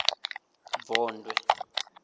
vondwe